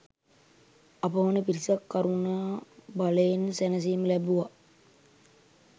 අපමණ පිරිසක් කරුණා බලයෙන් සැනසීම ලැබුවා.